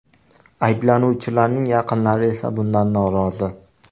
Ayblanuvchilarning yaqinlari esa bundan norozi.